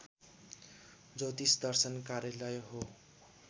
ज्योतिष दर्शन कार्यालय हो